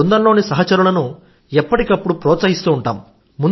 బృందంలోని సహచరులను ఎప్పటికీ ప్రోత్సహిస్తూ ఉంటాం